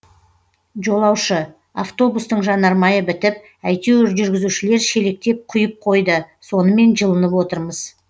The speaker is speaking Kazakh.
жолаушы автобустың жанармайы бітіп әйтеуір жүргізушілер шелектеп құйып қойды сонымен жылынып отырмыз